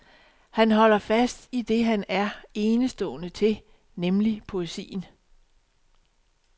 Han holder fast i det han er enestående til, nemlig poesien.